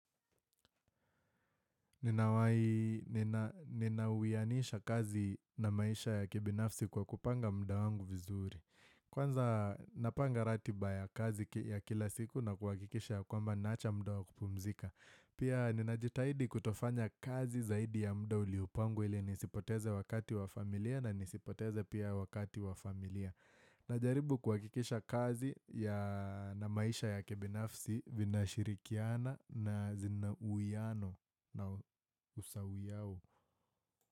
Ninawianisha kazi na maisha ya kibinafsi kwa kupanga muda wangu vizuri. Kwanza napanga ratiba ya kazi ya kila siku na kuhakikisha ya kwamba naacha muda wakupumzika. Pia ninajitahidi kutofanya kazi zaidi ya mda uliupangu ili nisipoteze wakati wa familia na nisipoteze pia wakati wa familia. Najaribu kuhakikisha kazi ya na maisha ya kibinafsi vinashirikiana na zina muiano na usawi yao.